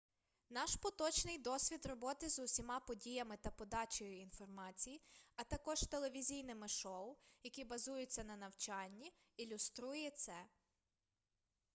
наш поточний досвід роботи з усіма подіями та подачею інформації а також телевізійними шоу які базуються на навчанні ілюструє це